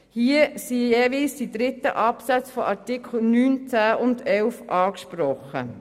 Hier sind jeweils die dritten Absätze der Artikel 9 und 10 sowie der zweite Absatz von Artikel 11 angesprochen.